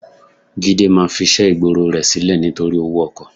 Jídé máa fiṣẹ́ ìgboro rẹ sílẹ̀ nítorí owó ọkọ̀.